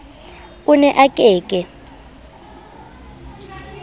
o ne a ke ke